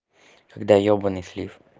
когда ёбанный слив